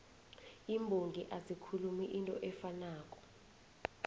iimbongi azikhulumi into efanako